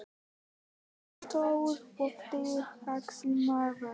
Hann var stór og þrekvaxinn maður.